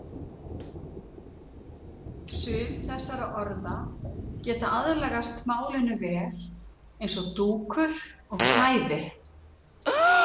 Sum þessara orða geta aðlagast málinu vel eins og dúkur og klæði.